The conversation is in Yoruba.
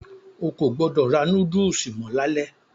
O kò gbọdọ̀ ra núdùsù mọ́ lalẹ́.